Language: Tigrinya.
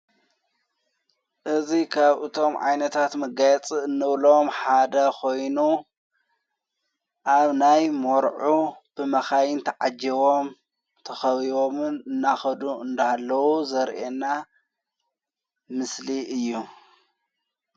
እዙይ ኻብ እቶም ዓይነታት መጋያጽ እኖብሎም ሓደ ኾይኑ ኣብ ናይ ሞርዑ ብማኻይን ተዓጀዎም ተኸብቦምን እናኸዱ እንዳሃለዉ ዘርአና ምስሊ እዩ።